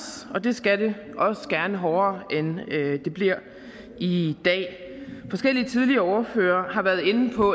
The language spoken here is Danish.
og det skal det også gerne hårdere end det bliver i dag forskellige tidligere ordførere har været inde på